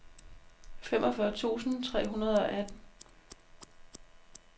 femogfyrre tusind tre hundrede og atten